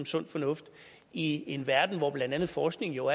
sund fornuft i en verden hvor blandt andet forskning jo